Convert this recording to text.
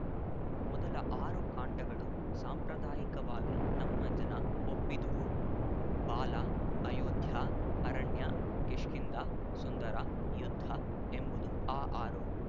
ಮೊದಲ ಆರು ಕಾಂಡಗಳು ಸಾಂಪ್ರದಾಯಿಕವಾಗಿ ನಮ್ಮ ಜನ ಒಪ್ಪಿದುವು ಬಾಲ ಅಯೋಧ್ಯಾ ಅರಣ್ಯ ಕಿಷ್ಕಿಂಧ ಸುಂದರ ಯುದ್ಧ ಎಂಬವುದು ಈ ಆರು